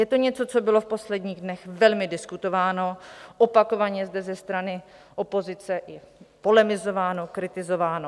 Je to něco, co bylo v posledních dnech velmi diskutováno, opakovaně zde ze strany opozice i polemizováno, kritizováno.